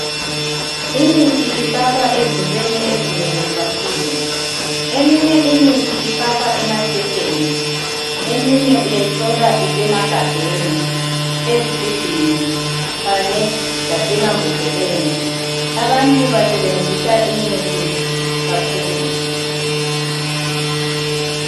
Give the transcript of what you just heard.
Imithi ifakwa ezintweni ezinengi kakhulu. Eminye ifakwa emaphepheni, eminye uyayithola isemagabheni, ezigubhini, kanye lasemambodleleni. Abantu basebenzisa imithi kakhulu.